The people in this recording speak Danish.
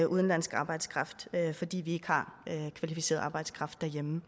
udenlandsk arbejdskraft fordi vi ikke har kvalificeret arbejdskraft derhjemme